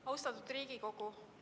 Austatud Riigikogu!